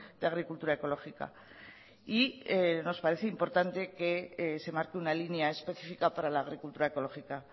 de agricultura ecológica y nos parece importante que se marque una línea específica para la agricultura ecológica